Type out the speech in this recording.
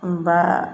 N ba